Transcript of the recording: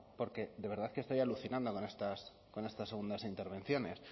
porque de verdad que estoy alucinado con estas segundas intervenciones